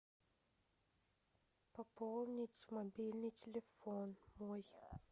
пополнить мобильный телефон мой